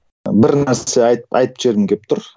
бір нәрсе айтып жібергім келіп тұр